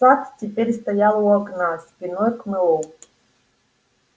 сатт теперь стоял у окна спиной к мэллоу